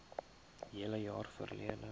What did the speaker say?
hele jaar verlede